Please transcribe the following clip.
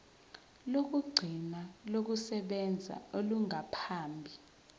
lokugcina lokusebenza olungaphambi